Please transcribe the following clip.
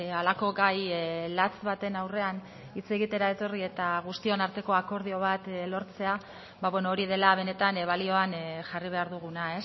halako gai latz baten aurrean hitz egitera etorri eta guztion arteko akordio bat lortzea hori dela benetan balioan jarri behar duguna